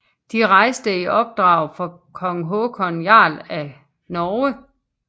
De rejste i opdrag fra kong Håkon Jarl af Norge